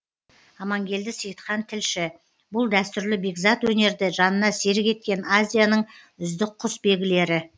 амангелді сейітхан тілші бұл дәстүрлі бекзат өнерді жанына серік еткен азияның үздік құсбегілері